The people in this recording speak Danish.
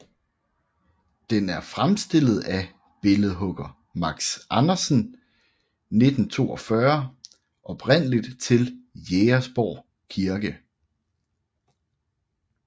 Den er fremstillet af billedhugger Max Andersen 1942 oprindeligt til Jægersborg Kirke